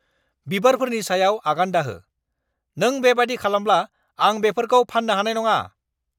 बिबारफोरनि सायाव आगान दाहो। नों बेबादि खालामब्ला आं बेफोरखौ फाननो हानाय नङा!